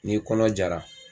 N'i kɔnɔ jara